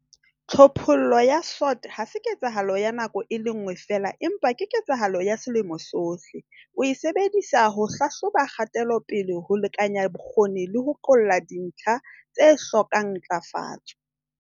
Tlhophollo ya SWOT ha se ketsahalo ya nako e le nngwe feela empa ke ketsahalo ya selemo sohle. Oe sebedisa ho hlahloba kgatelopele, ho lekanya bokgoni le ho qolla dintlha tse hlokang ntlafatso.